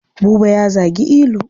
Buba ya zagi Ilu.